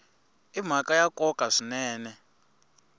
i mhaka ya nkoka swinene